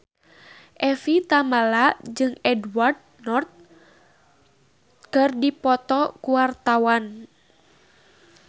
Evie Tamala jeung Edward Norton keur dipoto ku wartawan